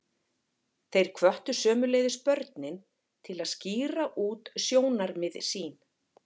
Þeir hvöttu sömuleiðis börnin til að skýra út sjónarmið sín.